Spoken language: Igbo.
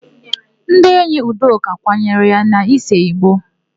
Ndị enyi Udoka kwanyere ya n'isee ìgbó.